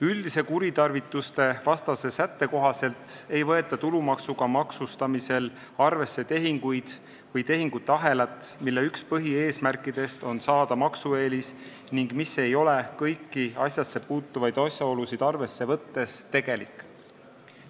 Üldise kuritarvitustevastase sätte kohaselt ei võeta tulumaksuga maksustamisel arvesse tehinguid või tehingute ahelat, mille üks põhieesmärke on saada maksueelis ning mis ei ole kõiki asjasse puutuvaid asjaolusid arvesse võttes tegelik.